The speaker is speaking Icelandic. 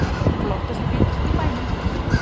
Flottasti bíll í bænum